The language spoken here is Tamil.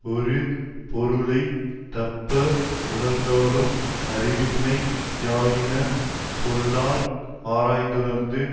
ஒரு பொருளை தப்ப உணர்ந்தாலும் அறிவின்மை யாயின சொல்லார் ஆராய்ந்துணர்ந்து